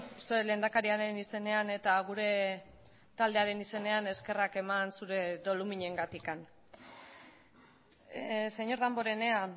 uste dut lehendakariaren izenean eta gure taldearen izenean eskerrak eman zure doluminengatik señor damborenea